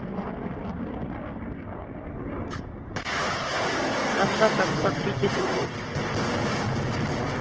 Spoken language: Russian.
остаток по кредиту